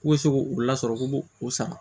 K'u bɛ se k'u lasɔrɔ k'u b'u o san